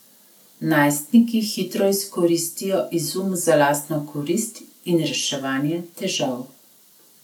Najstniki hitro izkoristijo izum za lastno korist in reševanje težav.